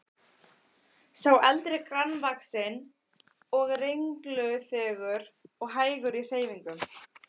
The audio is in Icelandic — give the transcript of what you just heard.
Sá eldri grannvaxinn og renglulegur og hægur í hreyfingum.